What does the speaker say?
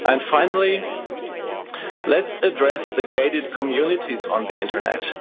Finally, let's address the gated communities on the internet.